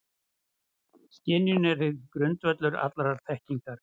Skynjunin er því grundvöllur allrar þekkingar.